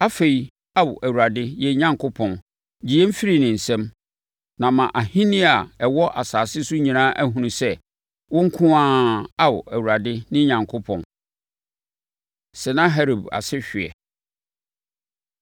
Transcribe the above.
Afei, Ao Awurade, yɛn Onyankopɔn, gye yɛn firi ne nsam, na ama ahennie a ɛwɔ asase so nyinaa ahunu sɛ, wo nko ara, Ao, Awurade, ne Onyankopɔn.” Sanaherib Asehweɛ